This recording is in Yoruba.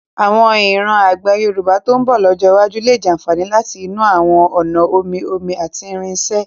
Àwọn ìran àgbẹ̀ Yorùbá tó ń bọ̀ lọ́jọ́ iwájú lè jàfààní láti inú àwọn ọ̀nà omi-omi àti irinṣẹ́.